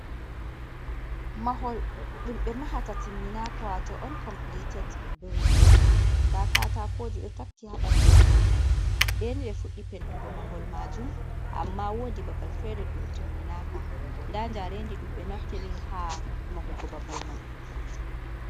Mahol ɗum be mahata timminaka. Wato on kompiliteɗ bilɗin. Ɗa katakoji ɗo takki ha banɗu mahol mai. Beni be fuɗɗi pentugo mahol majum. Amma woɗi babal fere ɗum timminaka. Ɗa jarenɗi ɗumbe naftiri ha mahugo babal mai.